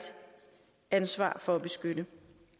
ansvar for at beskytte